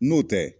N'o tɛ